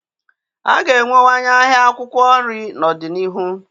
A ga-enwewanye ahịa akwụkwọ nri n'ọdịnihu.